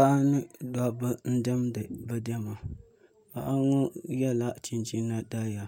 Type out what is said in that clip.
Paɣa ni dabba n diɛmdi bi diɛma paɣa ŋo yɛla chinchina daliya